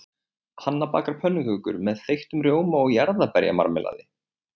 Hanna bakar pönnukökur með þeyttum rjóma og jarðarberjamarmelaði.